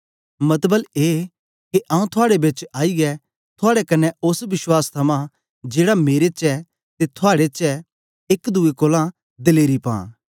मतबल ए के आंऊँ थुआड़े बेच आईयै थुआड़े कन्ने ओस विश्वास थमां जेड़ा मेरे च ते थुआड़े चै एक दुए कोलां दलेरी पां